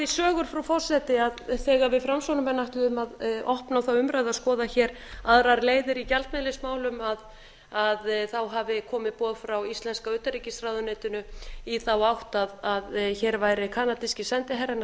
sögur frú forseti að þegar við framsóknarmenn ætluðum að opna þá umræðu að skoða hér aðrar leiðir í gjaldmiðilsmálum hafi komið boð frá íslenska utanríkisráðuneytinu í þá átt að hér væri kanadíski sendiherrann að